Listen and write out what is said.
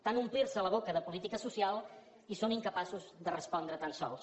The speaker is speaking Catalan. tant omplir se la boca amb política social i són incapaços de respondre tan sols